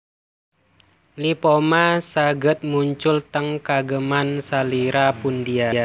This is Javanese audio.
Lipoma saged muncul teng kageman salira pundia